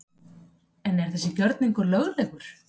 En er þessi gjörningur löglegur?